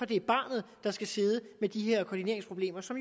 det er barnet der skal sidde med de her koordineringsproblemer som